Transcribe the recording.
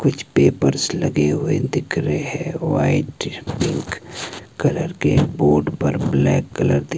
कुछ पेपर्स लगे हुए दिख रहे हैं व्हाइट पिंक कलर के बोर्ड पर ब्लैक कलर दी--